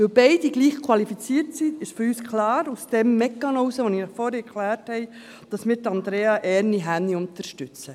Weil beide gleich qualifiziert sind, ist für uns aufgrund des Mechanismus, den ich Ihnen vorhin erklärt habe, klar, dass wir Andrea Erni Hänni unterstützen.